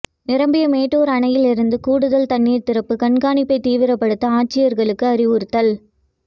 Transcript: நிரம்பிய மேட்டூர் அணையிலிருந்து கூடுதல் தண்ணீர் திறப்பு கண்காணிப்பை தீவிரப்படுத்த ஆட்சியர்களுக்கு அறிவுறுத்தல்